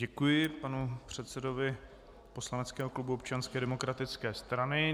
Děkuji panu předsedovi poslaneckého klubu Občanské demokratické strany.